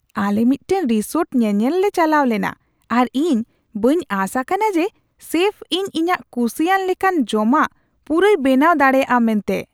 ᱟᱞᱮ ᱢᱤᱫᱴᱟᱝ ᱨᱤᱥᱳᱨᱴ ᱧᱮᱧᱮᱞ ᱞᱮ ᱪᱟᱞᱟᱣ ᱞᱮᱱᱟ ᱟᱨ ᱤᱧ ᱵᱟᱹᱧ ᱟᱥ ᱟᱠᱟᱱᱟ ᱡᱮ ᱥᱮᱯᱷ ᱤᱧ ᱤᱧᱟᱹᱜ ᱠᱩᱥᱤᱭᱟᱜ ᱞᱮᱠᱟᱱ ᱡᱚᱢᱟᱜ ᱯᱩᱨᱟᱹᱭ ᱵᱮᱱᱟᱣ ᱫᱟᱲᱮᱭᱟᱜᱼᱟ ᱢᱮᱱᱟᱛᱮ ᱾